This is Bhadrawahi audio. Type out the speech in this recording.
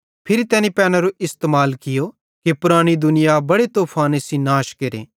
फिरी तैनी पैनेरो इस्तेमाल कियो कि पुरानी दुनिया बड़े तूफाने सेइं नाश केरे